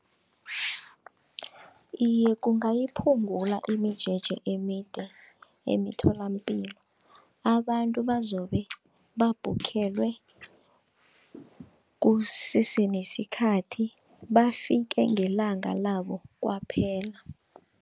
Iye, kungayiphungula imijeje emide emitholampilo, abantu abazobe babhukhelwe kusese nesikhathi bafike ngelanga labo kwaphela.